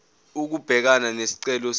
ukubhekana nesicelo senu